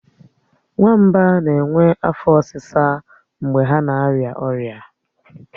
Nwamba na-enwe afo osisa mgbe ha na arịa ọrịa